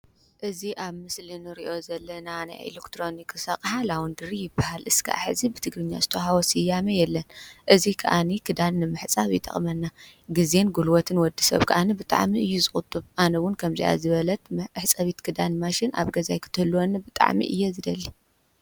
እዚ ኣብ ምስሊ ንሪኦ ዘለና ናይ ኤለክትሮኒክስ ኣቕሓ ላዎንድሪ ይባሃል። እስካዕ ሕዚ ብትግርኛ ዝተዎሃቦ ስያሚ የለን። እዚ ከኣኒ ክዳን ንምሕፃብ ይጠቅመና። ግዜን ጉልበትን ወዲሰብ ከዓኒ ብጣዕሚ እዩ ዝቁጥብ። ኣነ እዉን ከምዚኣ ዝበለት ምሕፀቢት ክዳን ማሽን ኣብ ገዛይ ክትህልዎኒ ብጣዕሚ እየ ዝደሊ።